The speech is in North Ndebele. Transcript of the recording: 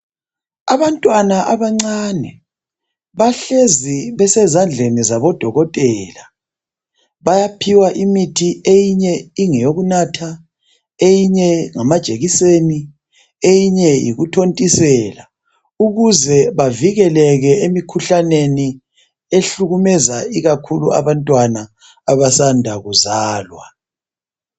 Abantwana abancane, bahlezi besezandleni zabodokotela. Bayaphiwa imithi eyinye ingeyokunatha, eyinye ingamajekiseni, eyinye yikuthontisela. Ukuze bavikeleke imikhuhlaneni ehlukumeza ikakhulu abantwana abasanda kuzalwa.